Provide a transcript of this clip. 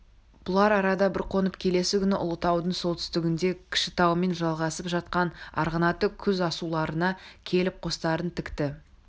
бұлар арада бір қонып келесі күні ұлытаудың солтүстігіндегі кішітаумен жалғасып жатқан арғынаты құз-асуларына келіп қостарын тікті